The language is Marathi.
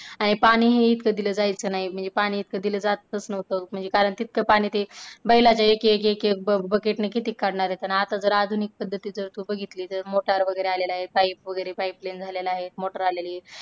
पाणीही इतक दिलं जायचं नाय म्हणजे पाणी इतका दिलं जातच नव्हतं म्हणजे कारण तितका पाणी ते बैलाच्या एक एक बकेट ने किती काढणार आता तर आधुनिक पद्धतीच तू बघितलं अशील असेल motor वगैरे आलेल्या आहेत pipe वगैरे pipeline झालेल्या आहेत motor आलेली आहे.